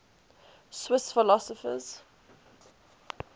swiss philosophers